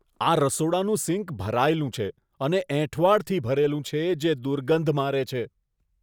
આ રસોડાનું સિંક ભરાયેલું છે અને એંઠવાડથી ભરેલું છે જે દુર્ગંધ મારે છે.